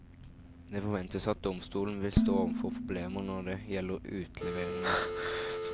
Det forventes at domstolen vil stå overfor problemer når det gjelder utleveringene.